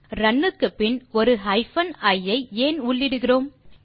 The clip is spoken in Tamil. ரன் க்குப்பின் ஒரு ஹைபன் இ ஐ ஏன் உள்ளிடுகிறோம்